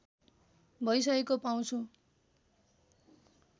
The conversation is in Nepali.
भइसकेको पाउँछु